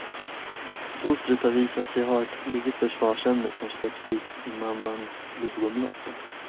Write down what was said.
Fostret har visat sig ha ett eget försvarsämne som släpps ut i mammans blodomlopp.